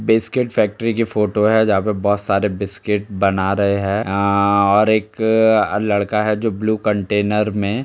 biscuit factory की photo है जा पे बोहोत सारे बिस्किट बना रहे है अ और एक लड़का है जो ब्लू कंटेनर में --